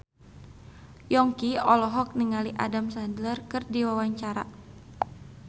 Yongki olohok ningali Adam Sandler keur diwawancara